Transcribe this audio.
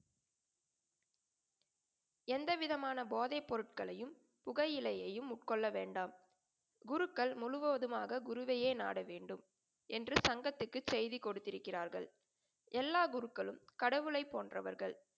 எந்தவிதமான போதைப் பொருட்களையும் புகையிலையையும் உட்கொள்ள வேண்டாம். குருக்கள் முழுவதுமாக குருவையே நாட வேண்டும் என்று சங்கத்துக்கு செய்து கொடுத்திருக்கிறார்கள். எல்லா குருக்களும் கடவுளை போன்றவர்கள்.